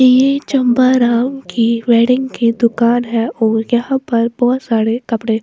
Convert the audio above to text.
ये चंपा राउ की वेडिंग की दुकान है और यहां पर बहुत सारे कपड़े--